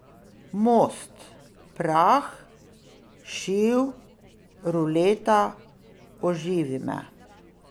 Most, Prah, Šiv, Ruleta, Oživi me.